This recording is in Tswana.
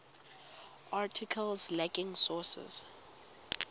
articles lacking sources